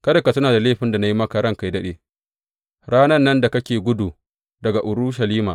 Kada ka tuna da laifin da na yi maka ranka yă daɗe, ranan nan da kake gudu daga Urushalima.